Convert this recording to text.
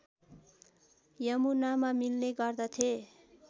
यमुनामा मिल्ने गर्दथे